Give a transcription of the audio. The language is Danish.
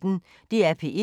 DR P1